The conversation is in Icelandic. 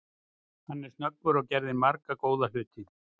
Hann er snöggur og gerði marga góða hluti.